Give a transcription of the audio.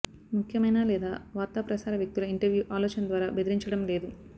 ముఖ్యమైన లేదా వార్తాప్రసార వ్యక్తుల ఇంటర్వ్యూ ఆలోచన ద్వారా బెదిరించడం లేదు